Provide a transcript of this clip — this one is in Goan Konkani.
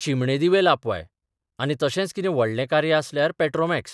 चिमणे दिवे लापवाय आनी तशेंच कितें व्हडलें कार्य आसल्यार पॅट्रॉमॅक्स.